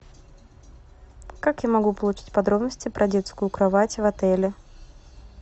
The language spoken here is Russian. как я могу получить подробности про детскую кровать в отеле